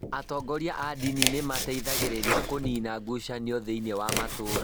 Atongoria a ndini nĩ mateithagĩrĩria kũniina ngucanio thĩinĩ wa matũũra.